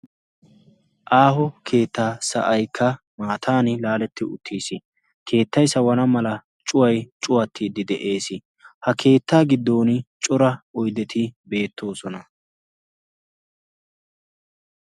Aaho keettaa sa'aykka maatan laaletti uttiis keettay sawana mala cuway cuwattiiddi de'ees. ha keettaa giddon cora oyddeti beettoosona.